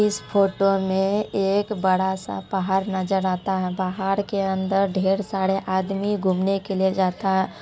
इस फोटो में एक बड़ा-सा पहाड़ नजर आता है। पहाड़ के अंदर ढेर सारे आदमी घूमने के लिए जाता है।